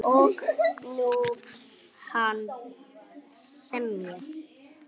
Og nú vill hann semja!